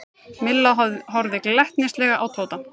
Milla horfði glettnislega á Tóta.